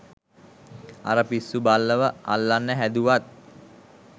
අර පිස්සු බල්ලව අල්ලන්න හැදුවත්